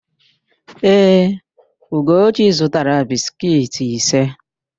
Ee, Ugochi zụtara biskiiti ise.